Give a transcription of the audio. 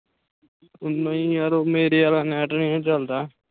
ਓ ਨਹੀਂ ਯਾਰ ਉਹ ਮੇਰੇ ਆਲਾ ਨੈੱਟ ਨਹੀਂ ਨਾ ਚਲਦਾ।